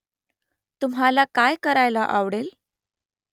तुम्हाला काय करायला आवडेल ?